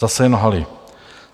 Zase jen lhali.